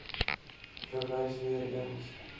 verwys weer eens